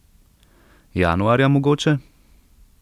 Januarja mogoče?